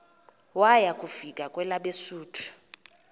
waya kufika kwelabesuthu